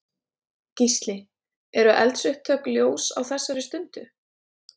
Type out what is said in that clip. Gísli: Eru eldsupptök ljós á þessari stundu?